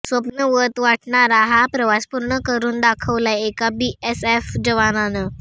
स्वप्नवत वाटणारा हा प्रवास पूर्ण करून दाखवलाय एका बीएसएफ जवानानं